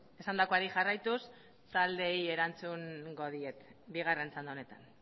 esandakoari jarraituz taldeei erantzungo diet bigarren txanda honetan